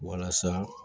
Walasa